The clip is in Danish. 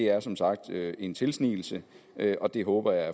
er som sagt en tilsnigelse og det håber jeg